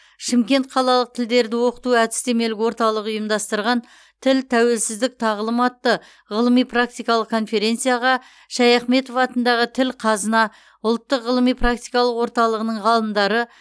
шымкент қалалық тілдерді оқыту әдістемелік орталығы ұйымдастырған тіл тәуелсіздік тағылым атты ғылыми практикалық конференцияға шаяхметов атындағы тіл қазына ұлттық ғылыми практикалық орталығының ғалымдары